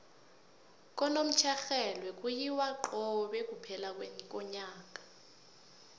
kunomtjherhelwe kuyiwa cobe kuphela konyaka